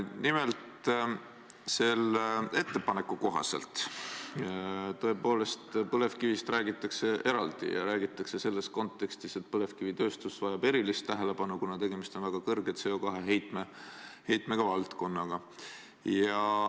Nimelt, selle ettepaneku kohaselt räägitakse tõepoolest põlevkivist eraldi, ja räägitakse selles kontekstis, et põlevkivitööstus vajab erilist tähelepanu, kuna tegemist on väga kõrge CO2 heitmega valdkonnaga.